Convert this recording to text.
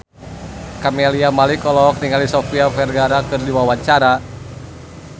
Camelia Malik olohok ningali Sofia Vergara keur diwawancara